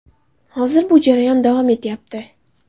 Hozir bu jarayon davom etyapti.